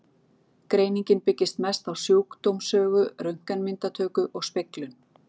Greiningin byggist mest á sjúkdómssögu, röntgenmyndatöku og speglun.